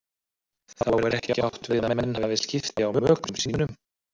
Þá er ekki átt við að menn hafi skipti á mökum sínum.